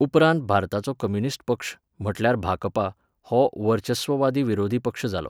उपरांत भारताचो कम्युनिस्ट पक्ष, म्हटल्यार भाजपा, हो वर्चस्ववादी विरोधी पक्ष जालो.